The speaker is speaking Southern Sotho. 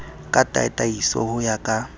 ka tataiso ho ya ka